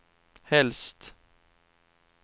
helst